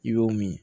I b'o min